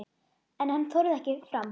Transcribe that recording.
En hann þorði ekki fram.